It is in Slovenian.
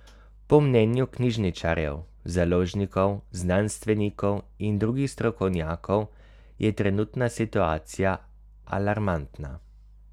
Po mnenju knjižničarjev, založnikov, znanstvenikov in drugih strokovnjakov je trenutna situacija alarmantna.